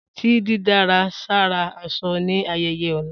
Ta didárà sára aṣọ ni ayẹyẹ ọla!